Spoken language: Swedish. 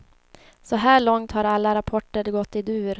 Så här långt har alla rapporter gått i dur.